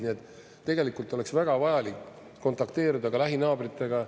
Nii et tegelikult oleks väga vajalik kontakteeruda ka lähinaabritega.